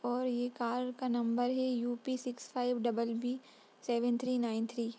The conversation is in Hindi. और ये कार का नंबर है UP. Six five double B seven three nine three.